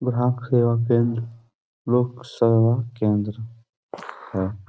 ग्राहक सेवा केंद्र लोक सेवा केंद्र है।